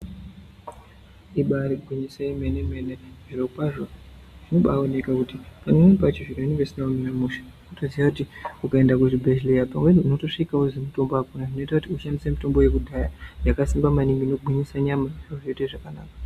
Ibaari gwinyiso yemene- mene, zviro kwazvo zvino baaoneka kuti pamweni pacho zviro zvinenge zvisina kumira mushe toziya kuti ukaenda kuzvi bhedhleya pamweni unotosvika wozi mutombo akuna, zvinoita kuti ushandise mutombo yekudhaya yakasimba maningi ino gwinyise nyama zvoite zvakanaka.